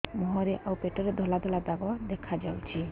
ମୁହଁରେ ଆଉ ପେଟରେ ଧଳା ଧଳା ଦାଗ ଦେଖାଯାଉଛି